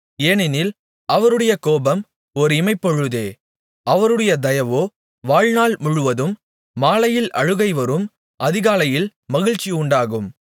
ஏனெனில் அவருடைய கோபம் ஒர் இமைப்பொழுதே அவருடைய தயவோ வாழ்நாள் முழுவதும் மாலையில் அழுகை வரும் அதிகாலையிலே மகிழ்ச்சி உண்டாகும்